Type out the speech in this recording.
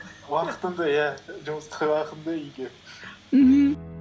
уақытымды иә мхм